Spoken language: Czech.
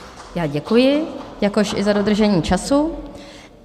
Já děkuji, jakož i za dodržení času.